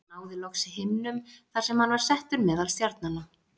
Hann náði loks himnum þar sem hann var settur meðal stjarnanna.